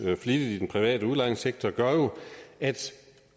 flittigt i den private udlejningssektor jo gør at